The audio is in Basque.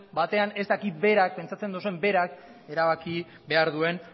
batean ez dakit pentsatzen duzuen berak erabaki behar duen